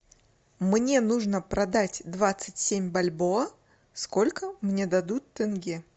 мне нужно продать двадцать семь бальбоа сколько мне дадут тенге